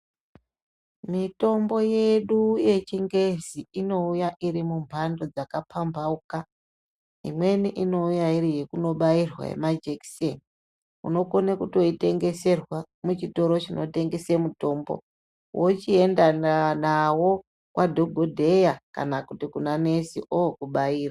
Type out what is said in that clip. Mitombo yedu yechingezi inouya iri mumhando dzakapambauka imweni inouya iri yekunobairwa yemajekiseni unokone kutoitengeserwa muchitoro chinotengese mitombo wochienda nawo kwadhokodheya kana kuti kuna nesi ookubaira.